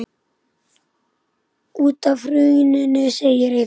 Út af hruninu segir Eyþór.